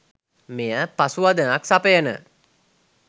මෙයට පසුවදනක් සපයන